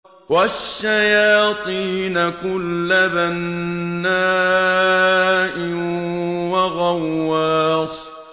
وَالشَّيَاطِينَ كُلَّ بَنَّاءٍ وَغَوَّاصٍ